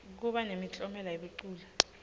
kuba nemiklomelo yebaculi